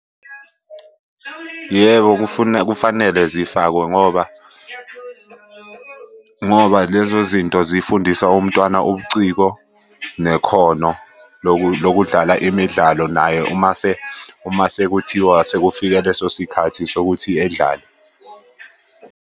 Yebo, kufanele zifakwe ngoba, ngoba lezo zinto zifundisa umntwana ubuciko nekhono lokudlala imidlalo naye uma sekuthiwa sekufike leso sikhathi sokuthi edlale.